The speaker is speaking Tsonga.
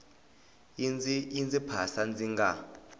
yi ndzi phasa ndzi nga